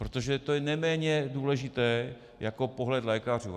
Protože to je neméně důležité jako pohled lékařů.